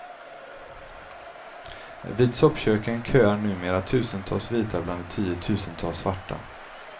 Vid soppköken köar numera tusentals vita bland de tiotusentals svarta.